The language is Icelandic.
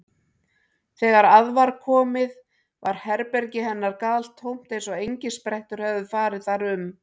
Þegar að var komið var herbergi hennar galtómt eins og engisprettur hefðu farið þar um.